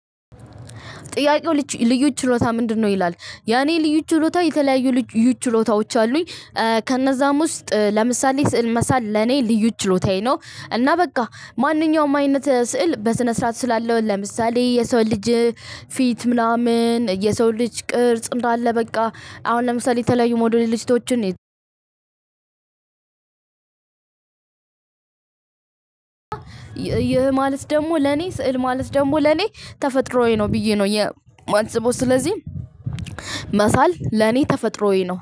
ጥያቄው ልዩ ችሎታህ ምንድነው? ይላል ያኔ ልዩ ችሎታ የተለያዩ ልዩ ችሎታዎች አሉኝ። ከእነዛም ውስጥ ለምሳሌ ስዕል መሳል ለኔ ልዩ ችሎታዬ ነው። እና በቃ ማንኛውም አይነት ስዕል በስነ ስርዓት እስላለው ለምሳሌ የሰው ልጅ ፊት ምናምን የሰው ልጅ ቅርጽ እንዳለ በቃ አሁን ለምሳሌ የተለያዩ ሞዴልስቶችን። ይህ ማለት ደግሞ ለኔ ስዕል ማለት ደግሞ ለኔ ተፈጥሮዬ ነው ብዬ ነው የማስበው። ስለዚህ መሳል ለኔ ተፈጥሮዬ ነው